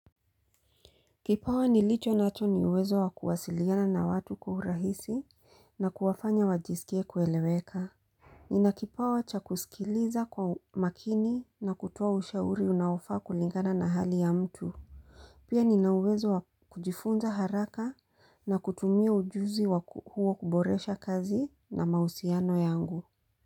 Kipawa nilicho nacho ni uwezo wa kuwasiliana na watu kwa urahisi na kuwafanya wajisikie kueleweka. Nina kipawa cha kusikiliza kwa makini na kutoa ushauri unaofaa kulingana na hali ya mtu. Pia Nina uwezo wa kujifunza haraka na kutumia ujuzi wakuwa kuboresha kazi na mahusiano yangu.